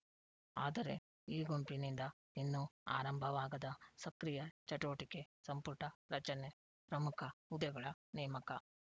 ಆದರೆ ಈ ಗುಂಪಿನಿಂದ ಇನ್ನೂ ಆರಂಭವಾಗದ ಸಕ್ರಿಯ ಚಟುವಟಿಕೆ ಸಂಪುಟ ರಚನೆ ಪ್ರಮುಖ ಹುದ್ದೆಗಳ ನೇಮಕ